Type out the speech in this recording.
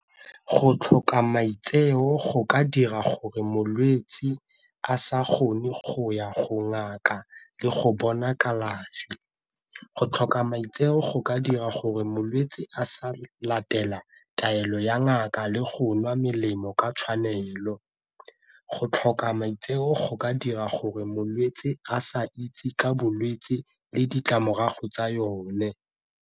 Go tlhoka maitseo go ka dira gore molwetsi a sa kgone go ya go ngaka le go bona kalafi, go tlhoka maitseo go ka dira gore molwetsi a sa latela taelo ya ngaka le go nwa melemo ka tshwanelo, go tlhoka maitseo go ka dira gore molwetsi a sa itse ka bolwetsi le ditlamorago tsa yone.